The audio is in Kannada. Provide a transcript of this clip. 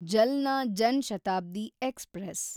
ಜಲ್ನಾ ಜನ್ ಶತಾಬ್ದಿ ಎಕ್ಸ್‌ಪ್ರೆಸ್